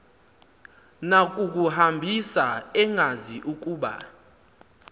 nakukuhambisa engazi ukuba